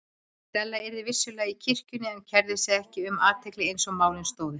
Stella yrði vissulega í kirkjunni en kærði sig ekki um athygli eins og málin stóðu.